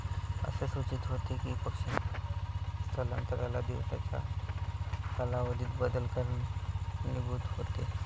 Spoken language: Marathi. असे सूचित होते कि पक्षांच्या स्थलांतराला दिवसाच्या कालावधीत बदल कारणीभूत होतो.